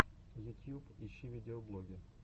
ютьюб ищи видеоблоги